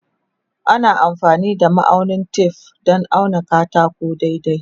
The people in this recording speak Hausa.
Ana amfani da ma'aunin tef don auna katako daidai.